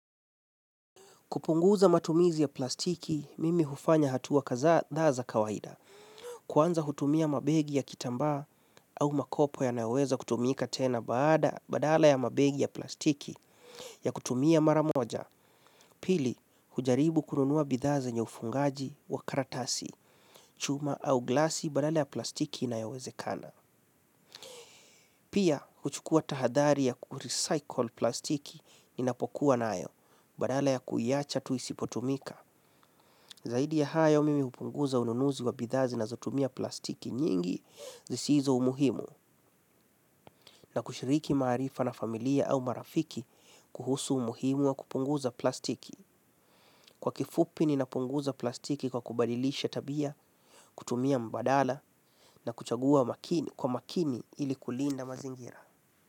Kupunguza matumizi ya plastiki, mimi hufanya hatua kadhaa za kawaida. Kwanza hutumia mabegi ya kitamba au makopo yanaweza kutumika tena baada badala ya mabegi ya plastiki ya kutumia mara moja. Pili, hujaribu kununua bidha zenye ufungaji wa karatasi, chuma au glasi badala ya plastiki inayowezekana. Pia, huchukua tahadhari ya kurecycle plastiki ninapokuwa nayo, badala ya kuiacha tu isipotumika. Zaidi ya hayo mimi hupunguza ununuzi wa bidhaa zinazotumia plastiki nyingi zisizo umuhimu na kushiriki maarifa na familia au marafiki kuhusu umuhimu wa kupunguza plastiki. Kwa kifupi ninapunguza plastiki kwa kubadilisha tabia, kutumia mbadala na kuchagua makini kwa makini ili kulinda mazingira.